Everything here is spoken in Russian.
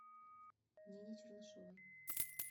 нине чернышовой